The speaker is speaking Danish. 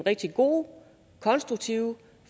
rigtig gode konstruktive og